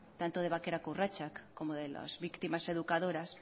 tanto de bakerako urratsak como de las víctimas educadoras